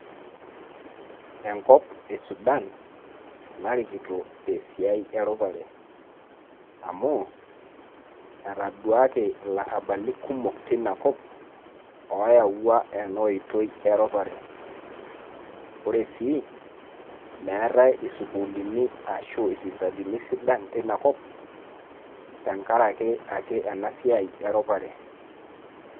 Enkop e Sudan narikito tesiai erupare. Amu, etaduaki ilarrabali kumok teina kop, oyawua enoitoi eropare. Ore sii, meetae isukuulini ashu isipitalini sidan tinakop, tenkaraki ake enasiai eropare.